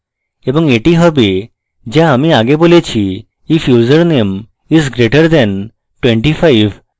এবং এটি হবে যা আমি আগে বলেছি if username is greater than 25